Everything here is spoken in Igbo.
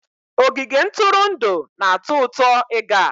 Ogige ntụrụndụ na-atọ ụtọ ịga